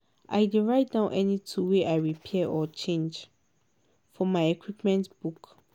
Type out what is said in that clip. i dey write down any tool wey i repair or change for my equipment book.